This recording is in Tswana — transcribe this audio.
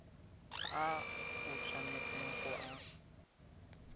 a o tshwanetseng go a